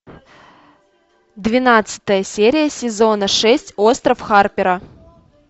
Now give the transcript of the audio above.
двенадцатая серия сезона шесть остров харпера